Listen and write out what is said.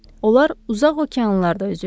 Onlar uzaq okeanlarda üzürlər.